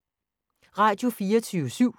Radio24syv